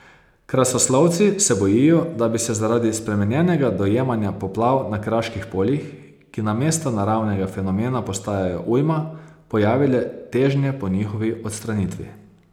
Krasoslovci se bojijo, da bi se zaradi spremenjenega dojemanja poplav na kraških poljih, ki namesto naravnega fenomena postajajo ujma, pojavile težnje po njihovi odstranitvi.